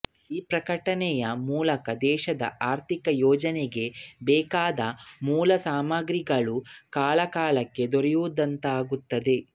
ಈ ಪ್ರಕಟಣೆಯ ಮೂಲಕ ದೇಶದ ಆರ್ಥಿಕ ಯೋಜನೆಗೆ ಬೇಕಾದ ಮೂಲಸಾಮಗ್ರಿಗಳು ಕಾಲಕಾಲಕ್ಕೆ ದೊರೆಯುವಂತಾಗುತ್ತದೆ